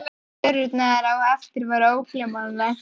Og að sjá fjörurnar á eftir var ógleymanlegt!